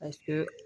A to